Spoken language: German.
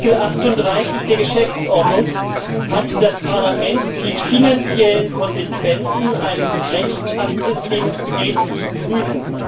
Nach Artikel 38 der Geschäftsordnung hat das Parlament die finanziellen Konsequenzen eines Rechtsaktes, den es begeht, zu prüfen.